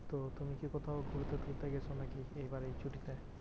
তো তুমি কি কোথাও ঘুরতে টুরতে গেছো নাকি এই বারের ছুটিতে?